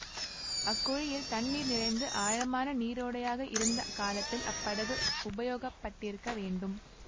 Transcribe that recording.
அக்குழியில் தண்ணீர் நிறைந்து ஆழமான நீரோடையாக இருந்த காலத்தில் அப்படகு உபயோகப்பட்டிருக்க வேண்டும்